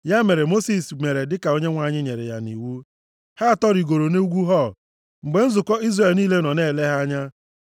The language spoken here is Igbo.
Ya mere Mosis mere dịka Onyenwe anyị nyere ya iwu. Ha atọ rigoro nʼugwu Hor mgbe nzukọ Izrel niile nọ na-ele ha anya.